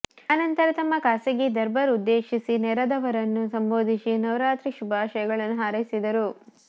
ಆನಂತರ ತಮ್ಮ ಖಾಸಗೀ ದರ್ಬಾರ್ ಉದ್ದೇಶಿಸಿ ನೆರೆದವರನ್ನು ಸಂಭೋಧಿಸಿ ನವರಾತ್ರಿ ಶುಭಾಶಯಗಳನ್ನು ಹಾರೈಸಿದರು